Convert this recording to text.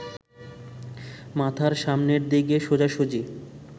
মাথার সামনের দিকে সোজাসুজি